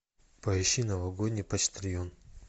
поищи новогодний почтальон